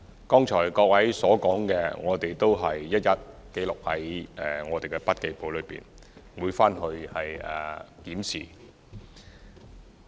剛才各位所說的，我們都一一記錄在筆記簿內，回去後會作檢視。